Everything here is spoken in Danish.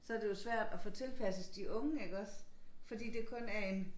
Så det jo svært at få tilpasset de unge iggås fordi det kun er en